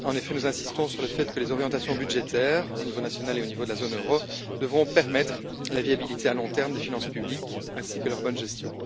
En effet, nous insistons sur le fait que les orientations budgétaires, au niveau national et au niveau de la zone euro, devront permettre la viabilité à long terme des finances publiques, ainsi que leur bonne gestion.